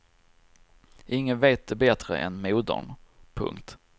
Ingen vet det bättre än modern. punkt